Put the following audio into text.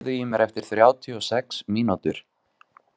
Sævar, heyrðu í mér eftir þrjátíu og sex mínútur.